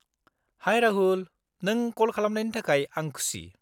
-High, Rahul! नों कल खालामनायनि थाखाय आं खुसि।